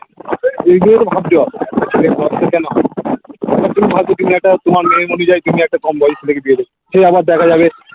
এই গুলোতো ভাবতে হবে তুমি একটা তোমার মেয়ের মধ্যে যাই কিছু একটা কম বয়সী দেখে বিয়ে দেবে সেই আবার দেঝা যাবে